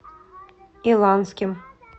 иланским